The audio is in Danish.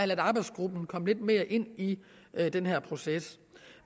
ladet arbejdsgruppen komme lidt mere ind i den her proces